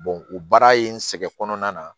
o baara in sɛgɛn kɔnɔna na